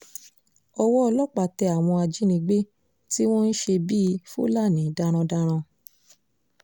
owó ọlọ́pàá tẹ àwọn ajínigbé tí wọ́n ń ṣe bíi fúlàní darandaran